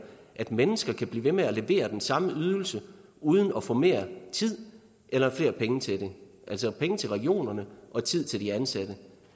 at mennesker kan blive ved med at levere den samme ydelse uden at få mere tid eller flere penge til det altså penge til regionerne og tid til de ansatte